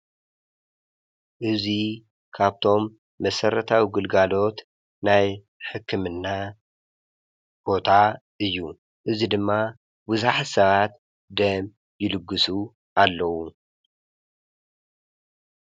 እዙይ ካብቶም መሰረታዊ ግልጋሎት ናይ ሕክምና ቦታ እዩ። እዙይ ድማ ብዙሓት ሰባት ደም ይልግሱ ኣለው።